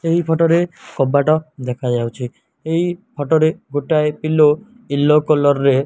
ଏହି ଫାଟ ରେ କବାଟ ଦେଖା ଯାଉଚି ଏହି ଫାଟ ରେ ଗୋଟାଏ ପିଲୋ ୟେଲୋ କଲର ରେ --